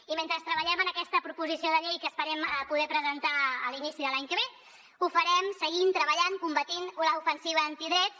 i mentre treballem en aquesta proposició de llei que esperem poder presentar a l’inici de l’any que ve ho farem seguint treballant combatent l’ofensiva antidrets